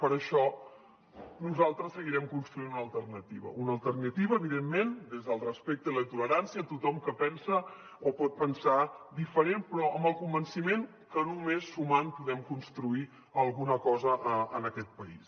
per això nosaltres seguirem construint una alternativa una alternativa evidentment des del respecte i la tolerància tothom que pensa o pot pensar diferent però amb el convenciment que només sumant podem construir alguna cosa en aquest país